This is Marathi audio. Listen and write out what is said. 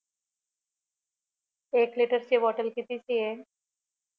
एक लिटर ची बॉटल कितीची आहे